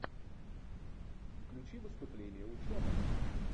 включи выступление ученого